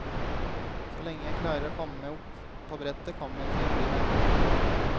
Så lenge jeg klarer å komme meg opp på brettet kommer jeg til å bli her.